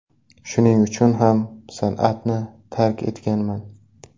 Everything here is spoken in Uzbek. Shuning uchun ham san’atni tark etganman”.